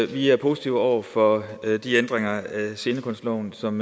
vi er positive over for de ændringer af scenekunstloven som